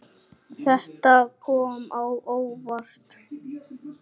Þetta kom á óvart.